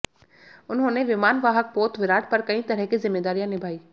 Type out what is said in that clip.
उन्होंने विमान वाहक पोत विराट पर कई तरह की जिम्मेदारियां निभाईं